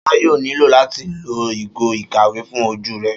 Ṣọlá yóò nílò láti lo ìgò ìkàwé fún ojú rẹ̀